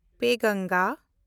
ᱯᱮᱱᱜᱚᱝᱜᱟ